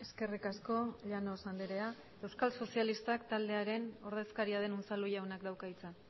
eskerrik asko llanos andrea euskal sozialistak taldearen ordezkaria den unzalu jaunak dauka hitza